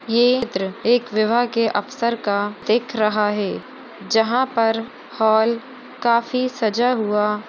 ये चित्र एक विवाह के अवसर का दिख रहा हैं जहाँ पर हॉल काफी सजा हुआ--